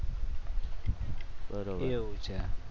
બરોબર એવું છે?